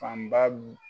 Fanba